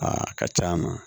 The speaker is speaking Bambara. Aa a ka ca a ma